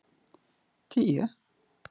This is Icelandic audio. tíu